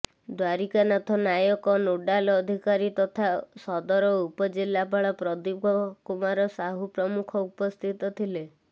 Dwarikanath Nayak nodal ଅଧିକାରୀ ତଥା ସଦର ଉପ ଜିଲ୍ଲାପାଲ ପ୍ରଦୀପ କୁମାର ସାହୁ ପ୍ରମୁଖ ଉପସ୍ଥିତ ଥିଲେ